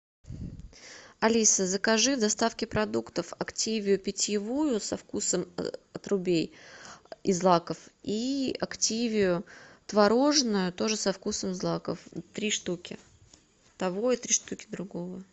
алиса закажи в доставке продуктов активию питьевую со вкусом отрубей и злаков и активию творожную тоже со вкусом злаков три штуки того и три штуки другого